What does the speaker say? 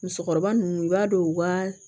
Musokɔrɔba ninnu i b'a dɔn u ka